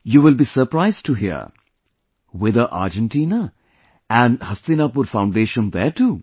You will be surprised to hear... whither Argentina... and Hastinapur Foundation there too